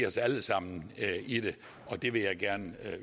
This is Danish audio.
os alle sammen i det det vil jeg gerne